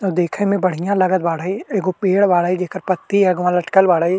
उ देखे में बढ़िया लागत बाढ़ई एगो पेड़ बाड़ई जेकर पत्ती अगवा लटकल बाड़ई।